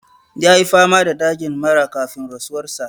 Ya yi fama da dajin mara kafin rasuwar sa.